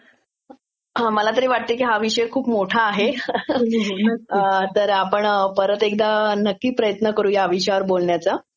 मला तरी वाटतयं की हा विषय खूप मोठा आहे. तर आपण परत एकदा नक्की प्रयत्न करू ह्या विषयावर बोलण्याचा